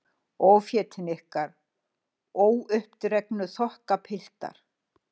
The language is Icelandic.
Ófétin ykkar, óuppdregnu þokkapiltar.